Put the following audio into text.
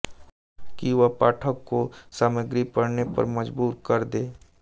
कि वह पाठक को सामग्री पढ़ने पर मज़बूर कर दे